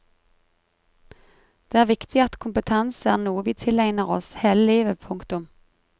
Det er viktig at kompetanse er noe vi tilegner oss hele livet. punktum